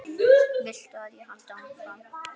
Viltu að ég haldi áfram?